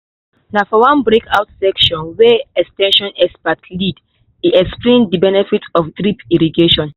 na for one breakout session wey ex ten sion experts lead e explain the benefit of drip irrigation.